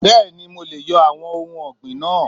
Bẹ́ẹ̀ni mo leè yo àwon ohun ògbìn náà